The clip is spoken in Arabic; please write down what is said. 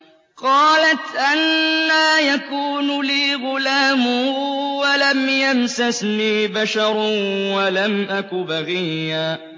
قَالَتْ أَنَّىٰ يَكُونُ لِي غُلَامٌ وَلَمْ يَمْسَسْنِي بَشَرٌ وَلَمْ أَكُ بَغِيًّا